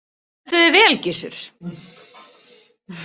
Þú stendur þig vel, Gissur!